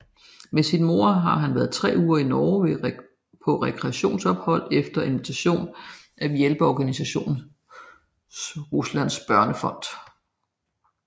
Med sin mor har han været tre uger i Norge på rekreationsophold efter invitation af hjælpeorganisationen Ruslands Børnefond